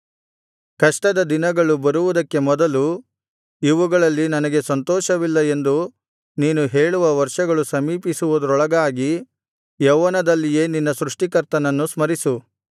ಕಷ್ಟದ ದಿನಗಳು ಬರುವುದಕ್ಕೆ ಮೊದಲು ಇವುಗಳಲ್ಲಿ ನನಗೆ ಸಂತೋಷವಿಲ್ಲ ಎಂದು ನೀನು ಹೇಳುವ ವರ್ಷಗಳು ಸಮೀಪಿಸುವುದರೊಳಗಾಗಿ ಯೌವನದಲ್ಲಿಯೇ ನಿನ್ನ ಸೃಷ್ಟಿಕರ್ತನನ್ನು ಸ್ಮರಿಸು